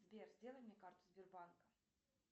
сбер сделай мне карту сбербанка